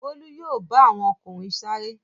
Bólú yóò bá àwọn ọkùnrin sáré.